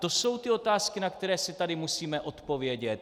To jsou ty otázky, na které si tady musíme odpovědět.